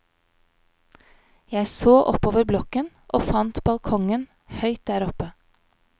Jeg så oppover blokken og fant balkongen høyt der oppe.